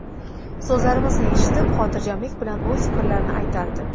So‘zlarimizni eshitib, xotirjamlik bilan o‘z fikrlarini aytardi.